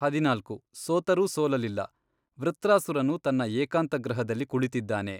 ಹದಿನಾಲ್ಕು, ಸೊತರೂ ಸೋಲಲಿಲ್ಲ ವೃತ್ರಾಸುರನು ತನ್ನ ಏಕಾಂತಗೃಹದಲ್ಲಿ ಕುಳಿತಿದ್ದಾನೆ.